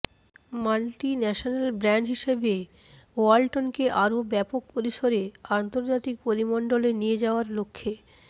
multi national brand হিসেবে ওয়ালটনকে আরও ব্যাপক পরিসরে আন্তর্জাতিক পরিমণ্ডলে নিয়ে যাওয়ার লক্ষ্যে